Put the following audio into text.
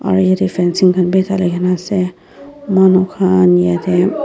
aro yadae fencing khan bi talina asae manu khan yadae.